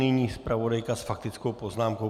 Nyní zpravodajka s faktickou poznámkou.